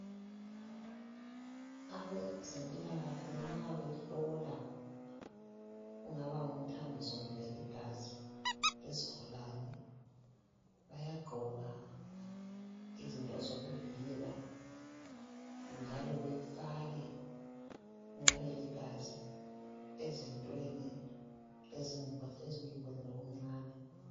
abazempila kahle nxa behlola kungaba ngumthambiso kumbe ligazi lesigulane bayagqoka izinto zokuvikela njalo befake kungabe ligazi ezintweni ezimbodleleni ezincane.